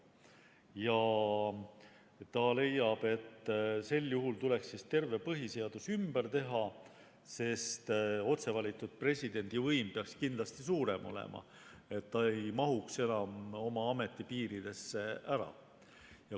Ja ta leiab, et sel juhul tuleks terve põhiseadus ümber teha, sest otse valitud presidendi võim peaks kindlasti suurem olema, ta ei mahuks enam oma ametipiiridesse ära.